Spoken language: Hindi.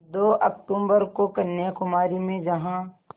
दो अक्तूबर को कन्याकुमारी में जहाँ